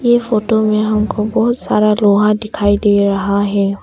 ये फोटो में हमको बहुत सारा लोहा दिखाई दे रहा है।